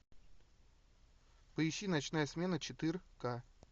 поищи ночная смена четырка